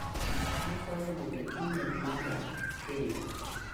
Akwayo mondo imel maga kendo.